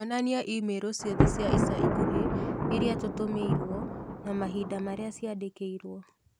onania i-mīrū ciothe cia ica ikuhĩ irĩa tũtũmĩirũo na mahinda marĩa ciandĩkĩirũo